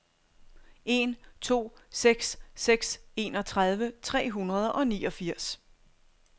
en to seks seks enogtredive tre hundrede og niogfirs